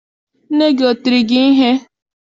Nne gị o tiri gị ihe?